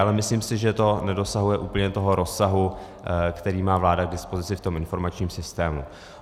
Ale myslím si, že to nedosahuje úplně toho rozsahu, který má vláda k dispozici v tom informačním systému.